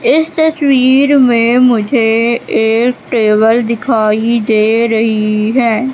इस तस्वीर में मुझे एक टेबल दिखाई दे रही है।